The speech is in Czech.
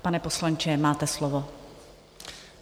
Pane poslanče, máte slovo.